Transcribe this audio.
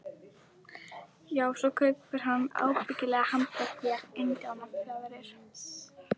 Já, svo kaupir hann ábyggilega handa þér indíánafjaðrir.